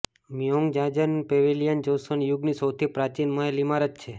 Myeongjeongjeon pavilion Joseon યુગની સૌથી પ્રાચીન મહેલ ઇમારત છે